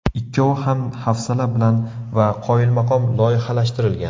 Ikkovi ham hafsala bilan va qoyilmaqom loyihalashtirilgan.